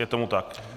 Je tomu tak.